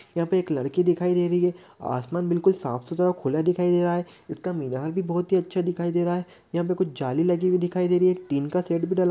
यहाँ पे एक लड़की दिखाई दे रही है आसमान बिलकुल साफ़-सुथरा और खुला दिखाई दे रहा है इसका मीनार भी बहुत ही अच्छा दिखाई दे रहा है यहाँ पे कुछ जाली लगी हुई दिखाई दे रही है टीन का शेड भी डला--